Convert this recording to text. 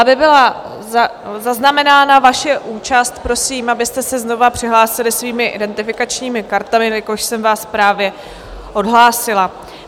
Aby byla zaznamenána vaše účast, prosím, abyste se znovu přihlásili svými identifikačními kartami, jelikož jsem vás právě odhlásila.